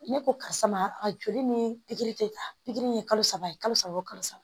Ne ko karisa ma a joli ni pikiri tɛ ta pikiri ye kalo saba ye kalo saba o kalo saba